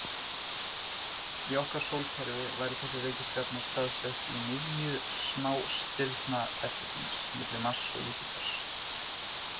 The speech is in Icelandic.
Í okkar sólkerfi væri þessi reikistjarna staðsett í miðju smástirnabeltisins, milli Mars og Júpíters.